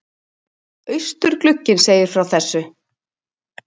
Austurglugginn segir frá þessu